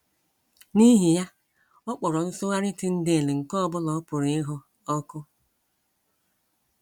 N’ihi ya, ọ kpọrọ nsụgharị Tyndale nke ọ bụla ọ pụrụ ịhụ ọkụ.